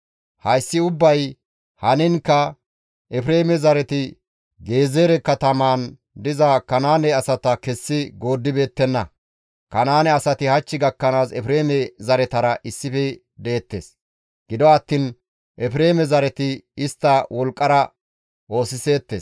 Hayssi ubbay haniinkka Efreeme zareti Gezeere katamaan diza Kanaane asata kessi gooddibeettenna. Kanaane asati hach gakkanaas Efreeme zaretara issife deettes. Gido attiin Efreeme zareti istta wolqqara oosiseettes.